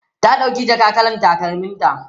ta ɗauki jaka kalar takalmin ta